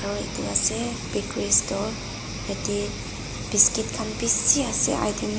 aro yate pa ase bakery store tatae biscuit khan bishi ase--